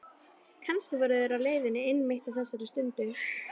Kannski voru þeir á leiðinni einmitt á þessari stundu.